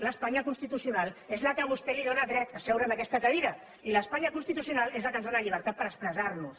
l’espanya constitucional és la que a vostè li dóna dret a seure en aquesta cadira i l’espanya constitucional és la que ens dóna la llibertat per expressar nos